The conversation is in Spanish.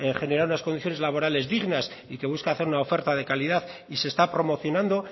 generar unas condiciones laborales dignas y que busca hacer una oferta de calidad y se está promocionando